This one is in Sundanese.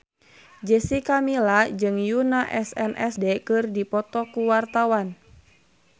Jessica Milla jeung Yoona SNSD keur dipoto ku wartawan